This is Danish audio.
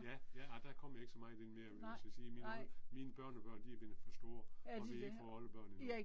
ja ja. Ej der kommer jeg ikke så meget inde mere eller hvad man skal sige, mine mine børnebørn er blevet for store, og vi har ikke fået oldebørn endnu